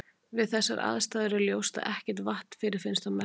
Við þessar aðstæður er ljóst að ekkert vatn fyrirfinnst á Merkúr.